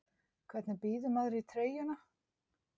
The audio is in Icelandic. Hvernig býður maður í treyjuna?